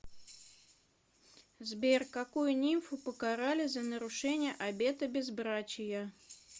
сбер какую нимфу покарали за нарушение обета безбрачия